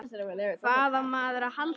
Hvað á maður að halda?